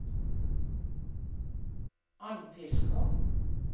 Andfiskå